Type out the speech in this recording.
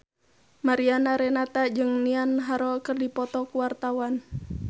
Mariana Renata jeung Niall Horran keur dipoto ku wartawan